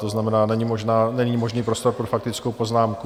To znamená, není možný prostor pro faktickou poznámku.